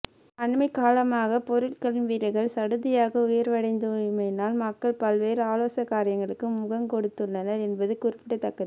அண்மைக்காலமாக பொருட்களின் விலைகள் சடுதியாக உயர்வடைந்துள்ளமையினால் மக்கள் பல்வேறு அசௌகரியங்களுக்கு முகங்கொடுத்துள்ளனர் என்பது குறிப்பிடத்தக்கது